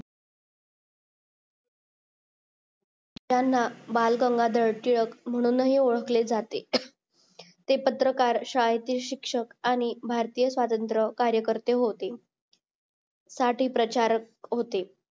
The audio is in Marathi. यांना बाळ गंगाधर टिळक म्हणूनही ओळखले जाते अह ते पत्रकार शाळेचे शिक्षक आणि भारतीय स्वातंत्र कार्यकर्ते होते सातहि प्रचारक होते